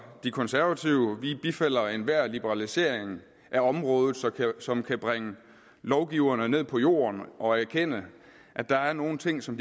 de konservative vi bifalder enhver liberalisering af området som kan bringe lovgiverne ned på jorden og erkende at der er nogle ting som